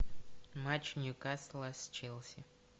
матч ньюкасла с челси